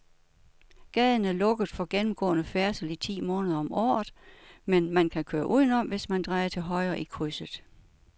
Gaden er lukket for gennemgående færdsel ti måneder om året, men man kan køre udenom, hvis man drejer til højre i krydset.